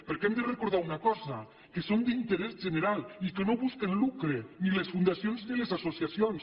perquè hem de recordar una cosa que són d’interès general i que no busquen lucre ni les fundacions ni les associacions